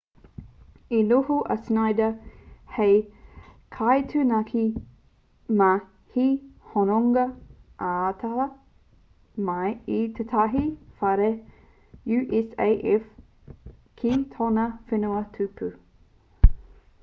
i noho a schneider hei kaitaunaki mā te hononga ataata mai i tētahi whare usaf ki tōna whenua tupu